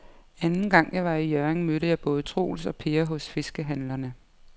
Anden gang jeg var i Hjørring, mødte jeg både Troels og Per hos fiskehandlerne.